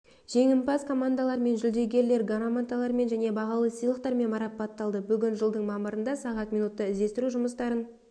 жеңімпаз командалар мен жүлдегерлер грамоталармен және бағалы сыйлықтармен марапатталды бүгін жылдың мамырында сағат минутта іздестіру жұмыстарын